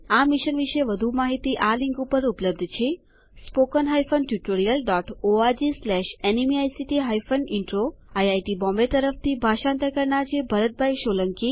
આ મિશન વિશે વધુ માહિતી આ લીંક ઉપર ઉપલબ્ધ છેspoken હાયફેન ટ્યુટોરિયલ dotઓર્ગ સ્લેશ ન્મેઇક્ટ હાયફેન ઇન્ટ્રો આઇઆઇટી બોમ્બે તરફથી ભાષાંતર કરનાર હું છું ભરત સોલંકી